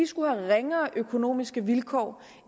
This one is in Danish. skulle have ringere økonomiske vilkår